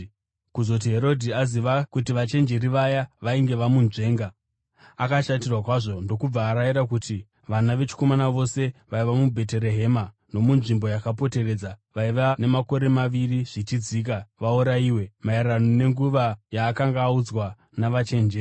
Kuzoti Herodhi aziva kuti vachenjeri vaya vainge vamunzvenga, akashatirwa kwazvo, ndokubva arayira kuti vana vechikomana vose vaiva muBheterehema nomunzvimbo yakapoteredza vaiva namakore maviri zvichidzika vaurayiwe, maererano nenguva yaakanga audzwa naVachenjeri.